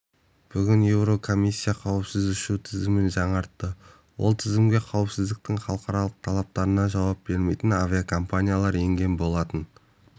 бүгін еурокомиссия қауіпсіз ұшу тізімін жаңартты ол тізімге қауіпсіздіктің халықаралық талаптарына жауап бермейтін авиакомпаниялар енген болатын